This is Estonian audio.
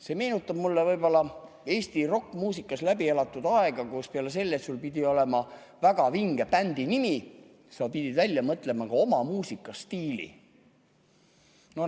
See meenutab mulle võib-olla Eesti rokkmuusikas läbi elatud aega, kui peale selle, et sul pidi olema väga vinge bändi nimi, sa pidid välja mõtlema ka oma muusikastiili.